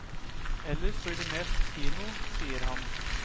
Ellers blir det mest kino, sier han.